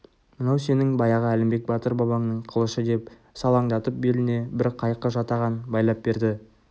мынау сенің баяғы әлімбек батыр бабаңның қылышы деп салаңдатып беліне бір қайқы жатаған байлап берді